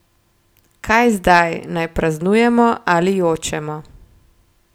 Kaj zdaj, naj praznujemo ali jočemo?